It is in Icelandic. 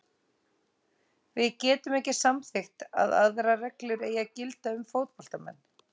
Við getum ekki samþykkt að aðrar reglur eigi að gilda um fótboltamenn.